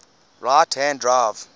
right hand drive